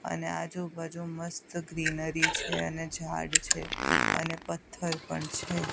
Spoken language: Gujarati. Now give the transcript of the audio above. અને આજુબાજુ મસ્ત ગ્રીનરી છે અને જાળ છે અને પથ્થર પણ છે.